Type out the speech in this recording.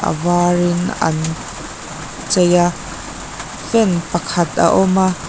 avar in an chei a fan pakhat a awm a.